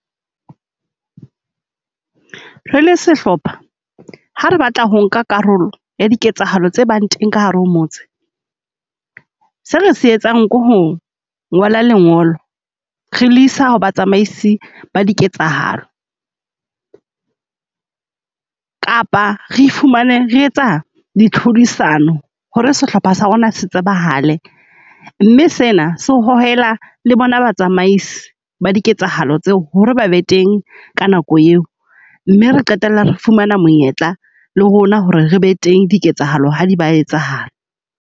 Re le sehlopha, ha re batla ho nka karolo ya diketsahalo tse bang teng ka hare motse. Se re se etsang ke ho ngola lengolo re le isa ho ba tsamaisi ba diketsahalo, kapa re fumane re etsa di tlhodisano ho re sehlopha sa rona se tsebahale. Mme sena se o hohela le bona batsamaisi ba diketsahalo tseo ho re ba be teng ka nako eo. Mme re qetella re fumana monyetla le rona ho re re be teng diketsahalo ha di ba etsahala.